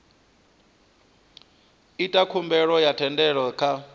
ita khumbelo ya thendelo kha